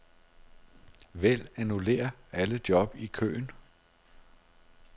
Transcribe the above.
Vælg annullér alle job i køen.